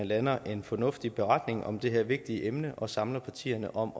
lander en fornuftig beretning om det her vigtige emne og samler partierne om